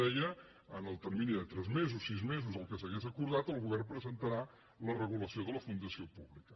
deia en el termini de tres mesos sis mesos el que s’hagués acordat el govern presentarà la regulació de la fundació públi·ca